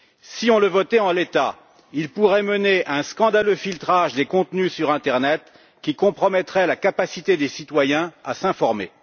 Si on le votait en l'état, il pourrait mener à un scandaleux filtrage des contenus sur internet qui compromettrait la capacité des citoyens à s'informer.